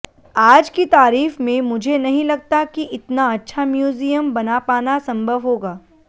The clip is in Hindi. आज की तारीख में मुझे नहीं लगता कि इतना अच्छा म्यूजियम बना पाना संभव होगा